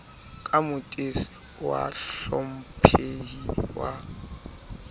ka motes wa bahlomphehi wa